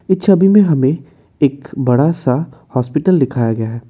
इस छवि में हमें एक बड़ा सा हॉस्पिटल दिखाया गया है।